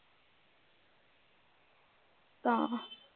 ਤਾਂ